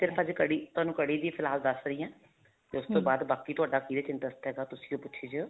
ਸਿਰਫ਼ ਅੱਜ ਕੜੀ ਤੁਹਾਨੂੰ ਕੜੀ ਹੀ ਫ਼ਿਲਾਲ ਦੱਸ ਰਹੀ ਹਾਂ ਤੇ ਬਾਅਦ ਬਾਕੀ ਤੁਹਾਡਾ ਕਿਹਦੇ ਵਿੱਚ interest ਹੈਗਾ ਤੁਸੀਂ ਉਹ ਪੁੱਛੀ ਜਾਏਓ